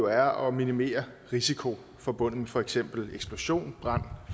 er at minimere risikoen forbundet med for eksempel eksplosion brand